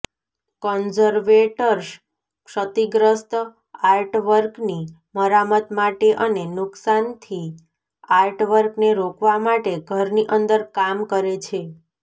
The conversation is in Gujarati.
કન્ઝર્વેટર્સ ક્ષતિગ્રસ્ત આર્ટવર્કની મરામત માટે અને નુકસાનથી આર્ટવર્કને રોકવા માટે ઘરની અંદર કામ કરે છે